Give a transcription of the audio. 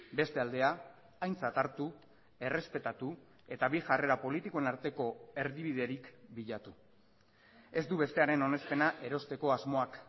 beste aldea aintzat hartu errespetatu eta bi jarrera politikoen arteko erdibiderik bilatu ez du bestearen onespena erosteko asmoak